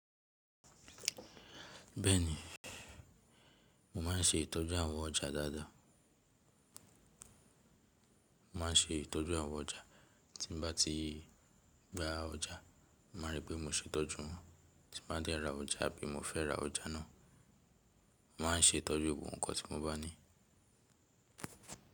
Bẹ́ẹ̀ni, mo ma n ṣe ìtọ́jú àwọn ọjà dáadáa. Mo ma n ṣe ìtọ́jú àwọn ọjà, tí n bá ti gba ọjà, mo ma ripé mo ṣe itọ́jú wọn, tí n bá dé ra ọjà bí mo fẹ́ ra ọjà náà. Mo ma n ṣe ìtọ́jú gbogbo nǹkan tí mo bá ní.